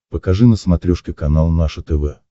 покажи на смотрешке канал наше тв